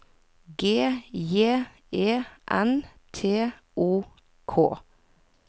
G J E N T O K